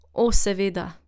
O seveda.